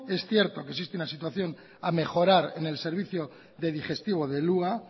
es cierto que existe una situación a mejorar en el servicio de digestivo del hua